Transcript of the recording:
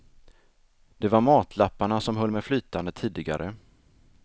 Det var matlapparna som höll mej flytande tidigare.